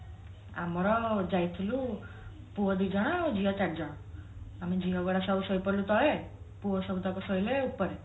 ଆମର ଯାଇଥିଲୁ ପୁଅ ଦି ଜଣ ଝିଅ ଚାରି ଜଣ ଆମେ ଝିଅ ଗୁଡା ସବୁ ଶୋଇପଡିଲୁ ତଳେ ପୁଅ ସବୁତକ ଶୋଇଲେ ଉପରେ